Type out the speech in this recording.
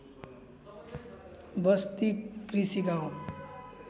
बस्ती कृषि गाउँ